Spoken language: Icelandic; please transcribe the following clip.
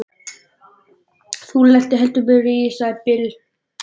Þú lentir heldur betur í því, sagði Bill.